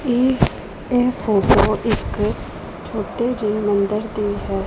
ਏ ਇਹ ਫੋਟੋ ਇੱਕ ਛੋਟੇ ਜਿਹੇ ਮੰਦਰ ਦੀ ਹੈ।